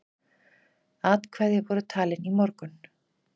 Atkvæði voru talin í morgun.